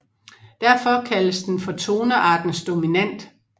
Derfor kaldes den for toneartens Dominant